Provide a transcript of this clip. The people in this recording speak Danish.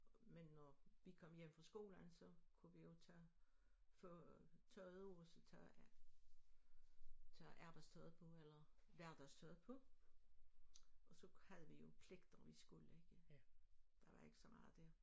Men når vi kom hjem fra skolen så kunne vi jo tage få tørret vores tøj af tage arbejdstøjet på eller hverdagstøjet på og så havde vi jo pligter vi skulle ikke der var ikke så meget der